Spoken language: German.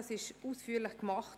Dies wurde ausführlich getan.